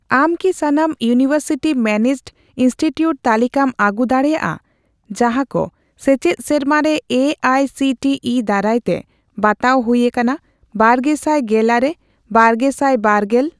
ᱟᱢ ᱠᱤ ᱥᱟᱱᱟᱢ ᱤᱭᱩᱱᱤᱶᱮᱨᱥᱤᱴᱤ ᱢᱮᱱᱮᱡᱰ ᱤᱱᱥᱴᱤᱴᱤᱭᱩᱴ ᱛᱟᱞᱤᱠᱟᱢ ᱟᱹᱜᱩ ᱫᱟᱲᱮᱭᱟᱜᱼᱟ ᱡᱟᱦᱟᱸᱠᱚ ᱥᱮᱪᱮᱫ ᱥᱮᱨᱢᱟᱨᱮ A I C T E ᱫᱟᱨᱟᱭᱛᱮ ᱵᱟᱛᱟᱣ ᱦᱩᱭ ᱟᱠᱟᱱᱟ ᱵᱟᱨᱜᱮᱥᱟᱭ ᱜᱮᱞᱟᱨᱮᱼ ᱵᱟᱨᱜᱮᱥᱟᱭ ᱵᱟᱨ ᱜᱮᱞ?